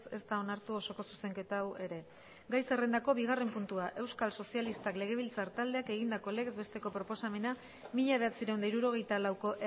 ez da onartu osoko zuzenketa hau ere gai zerrendako bigarren puntua euskal sozialistak legebiltzar taldeak egindako legez besteko proposamena mila bederatziehun eta hirurogeita lauko